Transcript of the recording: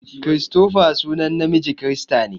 Christopher sunan namiji kirista ne.